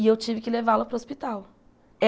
E eu tive que levá-la para o hospital.